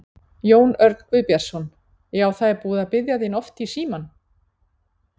Jón Örn Guðbjartsson: Já, það er búið að biðja þín oft í í í símann?